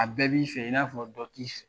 A bɛɛ b'i fɛ i n'a fɔ dɔ t'i fɛ